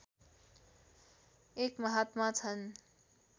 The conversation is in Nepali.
एक महात्मा छन्